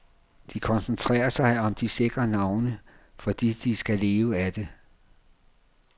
De koncentrerer sig om de sikre navne, fordi de skal leve af det.